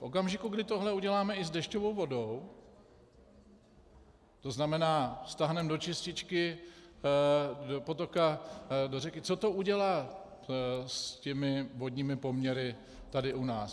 V okamžiku, kdy tohle uděláme i s dešťovou vodou, to znamená, stáhneme do čističky, do potoka, do řeky, co to udělá s těmi vodními poměry tady u nás?